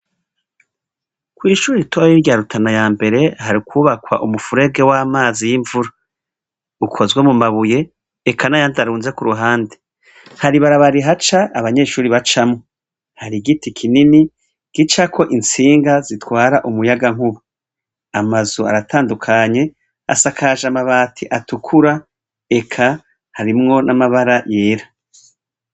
Kwishure ritoya rya rutana ya mbere hari kubakwa umufurege wamazi y imvura ukozwe mu mabuye eka nayandi arunze kuruhande hari ibarabara rihaca abanyeshure bacamwo harigiti kinini gicako itsinga zitwara umuyagankuba amazu aratandukanye asakaje amati atukura eka harimwo namabara yera